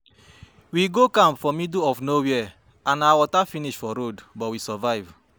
We go camp for middle of nowhere and our water finish for road but we survive